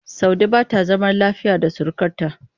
Saude ba ta zama lafiya da surukarta.